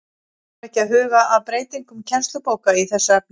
Þarf ekki að huga að breytingum kennslubóka í þessu efni?